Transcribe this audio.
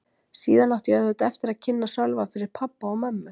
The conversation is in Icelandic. Síðan átti ég auðvitað eftir að kynna Sölva fyrir pabba og mömmu.